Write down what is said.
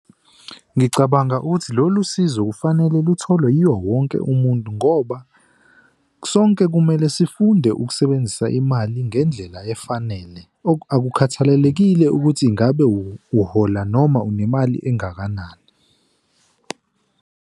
Ngicabanga ukuthi lolu sizo kufanele lutholwe yiwo wonke umuntu ngoba sonke kumele sifunde ukusebenzisa imali ngendlela efanele, akukhathalelekile ukuthi ngabe uhola noma unemali engakanani.